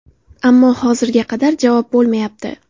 Ammo hozirga qadar javob bo‘lmayapti.